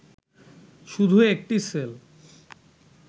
কিন্তু শুধু একটি সেল